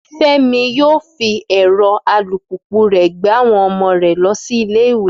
Fẹ́mi yóò fi ẹ̀rọ alùpùpù rẹ̀ gbé àwọn ọmọ rẹ̀ lọ sí ilé ìwé